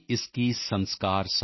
मन की बात अहम् से वयम् की यात्रा है